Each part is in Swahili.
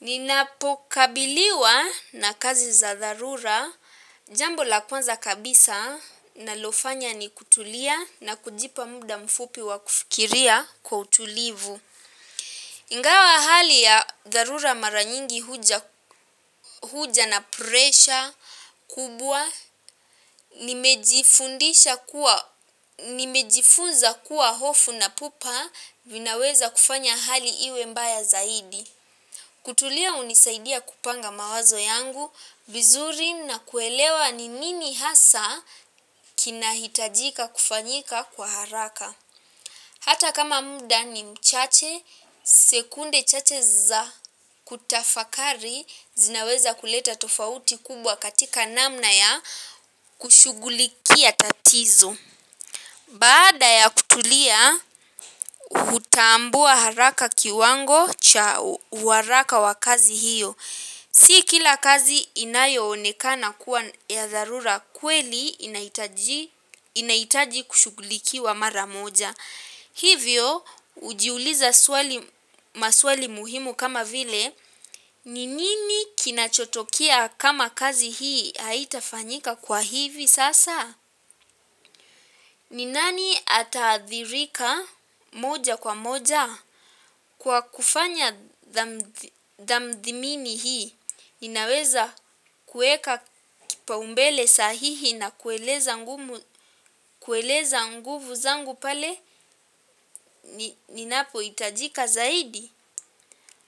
Ninapokabiliwa na kazi za dharura, jambo la kwanza kabisa ninalofanya ni kutulia na kujipa muda mfupi wa kufikiria kwa utulivu. Ingawa hali ya dharura mara nyingi huja na pressure kubwa nimejifundisha kuwa nimejifunza kuwa hofu na pupa vinawezakufanya hali iwe mbaya zaidi. Kutulia hunisaidia kupanga mawazo yangu, vizuri na kuelewa ni nini hasa kinahitajika kufanyika kwa haraka. Hata kama muda ni mchache, sekunde chache za kutafakari zinaweza kuleta tofauti kubwa katika namna ya kushughulikia tatizo. Baada ya kutulia hutambua haraka kiwango cha uharaka wa kazi hiyo. Si kila kazi inayoonekana kuwa ya dharura kweli inaitaji kushugulikiwa mara moja. Hivyo hujiuliza swali maswali muhimu kama vile. Ni nini kinachotokea kama kazi hii haitafanyika kwa hivi sasa? Ni nani ataathirika moja kwa moja kwa kufanya tathmini hii? Inaweza kuweka kipaumbele sahihi na kueleza nguvu zangu pale ninapo hitajika zaidi.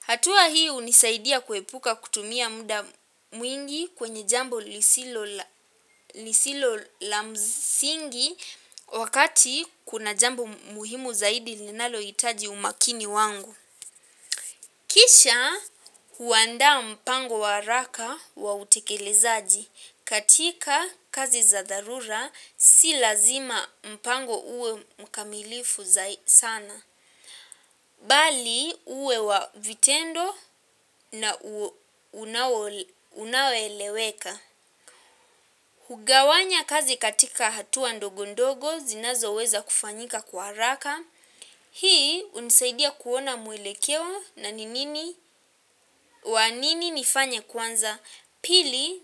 Hatua hii hunisaidia kuepuka kutumia muda mwingi kwenye jambo lisilo la msingi wakati kuna jambo muhimu zaidi linalohitaji umakini wangu. Kisha huandaa mpango wa haraka wa utekelezaji katika kazi za darura si lazima mpango uwe mkamilifu sana. Bali uwe wa vitendo na unaoeleweka. Hugawanya kazi katika hatua ndogondogo zinazoweza kufanyika kwa haraka. Hii hunisaidia kuona mwelekeo na nini, wanini nifanya kwanza pili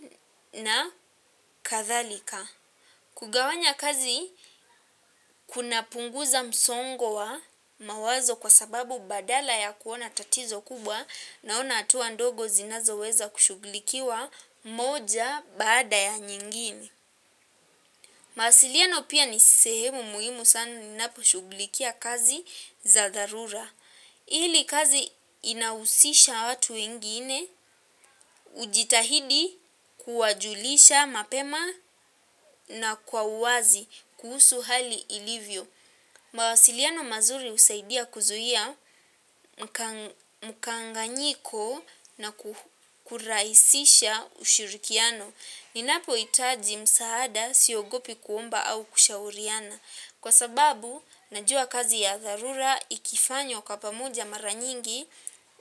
na kadhalika. Kugawanya kazi, kunapunguza msongo wa mawazo kwa sababu badala ya kuona tatizo kubwa naona hatuwa ndogo zinazoweza kushughulikiwa moja bada ya nyingine. Mawasiliano pia ni sehemu muhimu sana unaposhughulikia kazi za dharura. Ili kazi inahusisha watu wengine hujitahidi kuwajulisha mapema na kwa uwazi kuhusu hali ilivyo. Mawasiliano mazuri husaidia kuzuia mkanganyiko na kurahisisha ushurikiano. Ninapohitaji msaada siogopi kuomba au kushauriana. Kwa sababu, najua kazi ya dharura ikifanywa kwa pamoja mara nyingi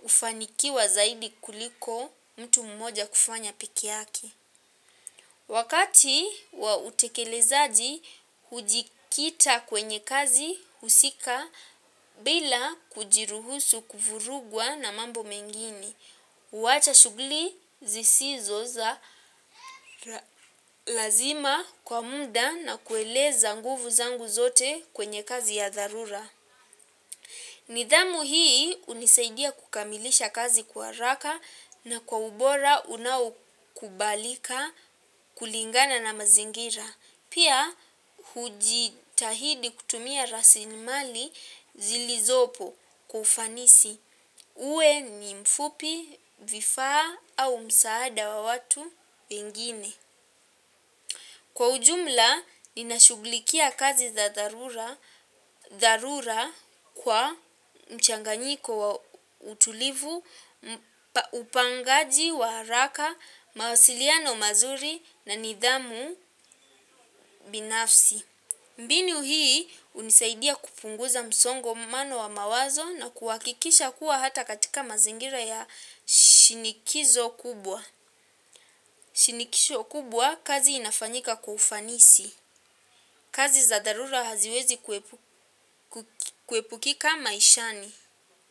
hufanikiwa zaidi kuliko mtu mmoja kufanya peke yake. Wakati wa utekelezaji, hujikita kwenye kazi husika bila kujiruhusu kufurugwa na mambo mengine. Huwacha shuguli zisizo za lazima kwa muda na kueleza nguvu zangu zote kwenye kazi ya dharura. Nidhamu hii hunisaidia kukamilisha kazi kwa haraka na kwa ubora unaokubalika kulingana na mazingira. Pia hujitahidi kutumia raslimali zilizopo kwa ufanisi uwe ni mfupi, vifaa au msaada wa watu wengine. Kwa ujumla, ninashuglikia kazi za dharura kwa mchanganyiko wa utulivu, upangaji wa haraka, mawasiliano mazuri na nidhamu binafsi. Mbinu hii hunisaidia kupunguza msongo mbano wa mawazo na kuhakikisha kuwa hata katika mazingira ya shinikizo kubwa. Shinikisho kubwa kazi inafanyika kwa ufanisi. Kazi za dharura haziwezi kuepukika maishani.